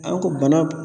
A ko bana